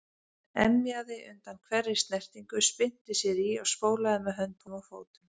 Emjaði undan hverri snertingu, spyrnti sér í og spólaði með höndum og fótum.